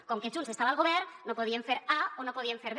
com que junts estava al govern no podien fer a o no podien fer b